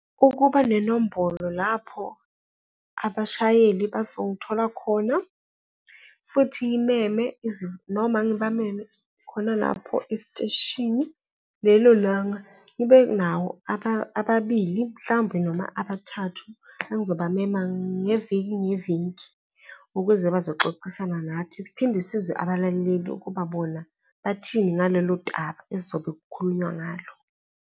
Ukuba nenombolo lapho abashayeli bazongithola khona futhi ngimeme noma ngibameme khona lapho esiteshini. Lelo langa ngibenawo ababili, mhlawumbe noma abathathu engizobamema ngeviki ngeviki ukuze bazoxoxisana nathi, siphinde sizwe nabalaleli ukuba bona bathini ngalelo esizobe kukhulunywa ngalo.